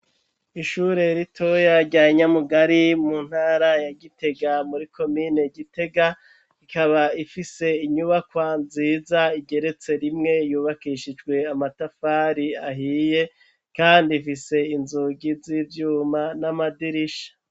Ishure ritoya rya Nyamugari mu ntara ya Gitega muri komine Gitega, ikaba ifise inyubakwa nziza igeretse rimwe yubakishijwe amatafari ahiye, kandi ifise inzugi z'ivyuma n'amadirisha.